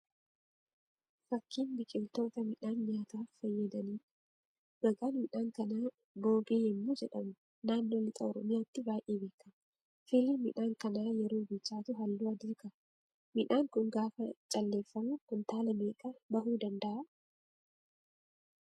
Fakkiin biqiloota midhaan nyaataaf fayyadaniidha. Maqaan midhaan kanaa Boobee yammuu jedhamuu naannoo lixa Oromiyaatti baay'ee beekama. Firiin midhaan kanaa yeroo bilchaatu halluu adii qaba. Midhaan kun gaafa calleeffamu kuntaala meeqa bahu danda'aa?